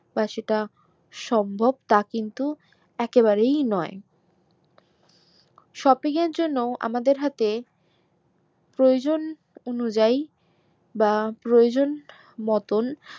বা সেটা সম্ভব তা কিন্তু একে বারেই নয় shopping এর জন্য আমাদের হাতে প্রয়োজন অনুযায়ী বা প্রয়োজন মতন